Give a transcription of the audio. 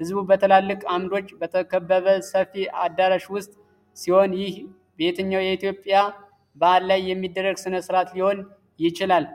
ሕዝቡ በትላልቅ ዓምዶች በተከበበ ሰፊ አዳራሽ ውስጥ ሲሆን። ይህ በየትኛው የኢትዮጵያ በዓል ላይ የሚደረግ ሥነሥርዓት ሊሆን ይችላል?